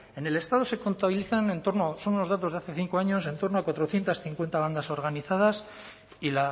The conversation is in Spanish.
en el estado se contabilizan entorno son unos datos de hace cinco años en torno a cuatrocientos cincuenta bandas organizadas y